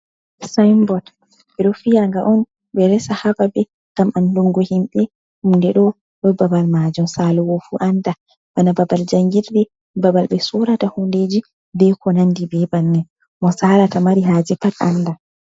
Sinbot ɓe ɗo fiyanga'on ɓe resa ha babe ngam an dungo himɓɓe hunde ɗo, ɗo babal majum salo'o fu anda, bana babal jangirde, babal ɓe sorata hundeji, ɓe konandi be bannin, mo salata mari haje pat anda.